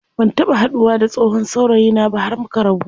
Ban taɓa haduwa da tsohon saurayina ba har muka rabu.